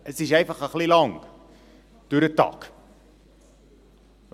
Es dauert einfach etwas langer, wenn man am Tag fährt.